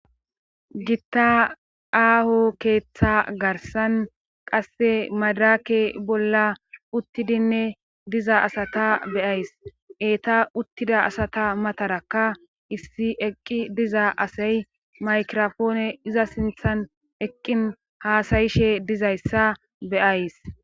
Gitta aaho keeththa garsan qasse madrake bolla uttidinne diza asata beyays eetta uttida asata matarakka issi eqqi diza asay maykirofoone iza sinththan eqqin haasayishe dizayssa beyays